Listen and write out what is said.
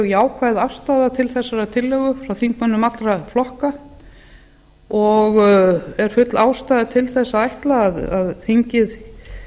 jákvæð afstaða til þessarar tillögu frá þingmönnum allra flokka og er full ástæða til þess að ætla að þingið